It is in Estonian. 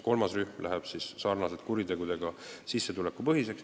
Kolmas rühm läheb siis sarnaselt kuritegude eest määratavate trahvidega sissetulekupõhiseks.